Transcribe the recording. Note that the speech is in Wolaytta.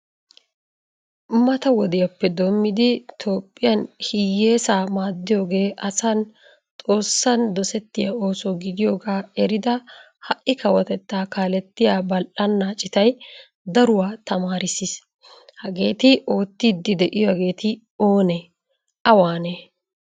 Mata wodiyappe doomidi Toophphiyan hiyeesa maadiyoge asan xoossan dosetiya ooso gidiyoga eridda hai kawotetta kaaletiyaa bal"ana ciittay daruwaa tamaarisis. Hagetti oottidi deiyagetti oone? Awaane?